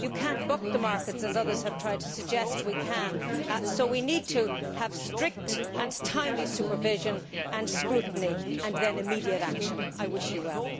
you cannot buck the markets as others have tried to suggest we can, so we need to have strict and timely supervision and scrutiny and then immediate action. I wish you well.